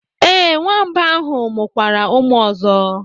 Ee, nwamba ahụ mụkwara ụmụ ọzọ.